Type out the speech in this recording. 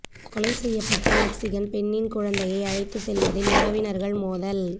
கொலை செய்யப்பட்ட மெக்சிகன் பெண்ணின் குழந்தையை அழைத்து செல்வதில் உறவினர்கள் மோதல்